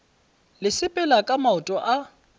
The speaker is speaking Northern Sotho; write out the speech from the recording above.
le sepela ka maoto a